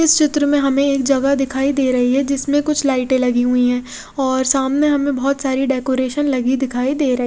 इस चित्र में हमे एक जगह दिखाई दे रही है जिसमे कुछ लाइटे लगी हुई है और सामने हमे बोहोत सारी डेकोरेशन लगी दिखाई दे रही--